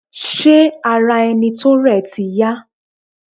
Ṣé ara ẹni tó rẹ̀ ti yá?